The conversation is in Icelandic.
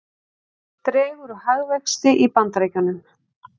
Dregur úr hagvexti í Bandaríkjunum